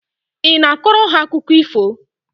Ị na-akọrọ ha akụkọ ifo?